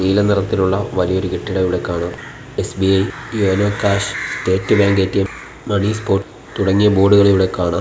നീല നിറത്തിലുള്ള വലിയൊരു കെട്ടിടം ഇവിടെ കാണാം SBI YONO cash state bank ATM money spot തുടങ്ങിയ ബോടുകൾ ഇവിടെ കാണാം.